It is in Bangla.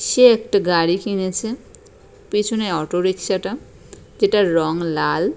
সে একটি গাড়ি কিনেছে পিছনে অটোরিক্সা টা যেটার রং লাল।